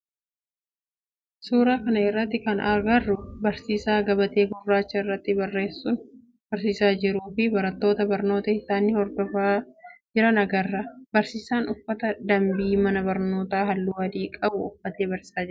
suuraa kana irratti kan agarru barsiisaa gabatee gurraacha irratti barreessuun barsiisaa jiruu fi barattoota barnoota isaani hordofaa jira agarra. Barsiisaan uffata dambii mana barnoota halluu adii qabu uffatee barsiisaa jira.